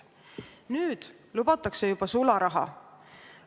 Nüüd lubatakse juba sularaha.